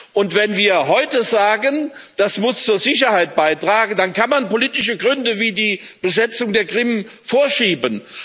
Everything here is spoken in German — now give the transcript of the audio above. Und wenn wir heute sagen, das muss zur Sicherheit beitragen, dann kann man politische Gründe wie die Besetzung der Krim vorschieben.